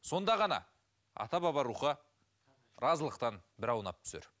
сонда ғана ата баба рухы разылықтан бір аунап түсер